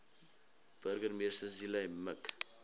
burgemeester zille mik